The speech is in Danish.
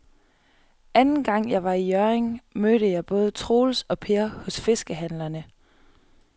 Anden gang jeg var i Hjørring, mødte jeg både Troels og Per hos fiskehandlerne.